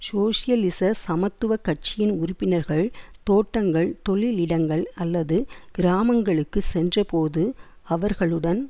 சோசியலிச சமத்துவ கட்சியின் உறுப்பினர்கள் தோட்டங்கள் தொழிலிடங்கள் அல்லது கிராமங்களுக்கு சென்றபோது அவர்களுடன்